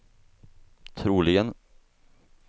troligen